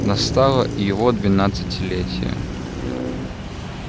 настало и его двенадцатилетие